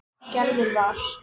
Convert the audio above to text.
Gerður var.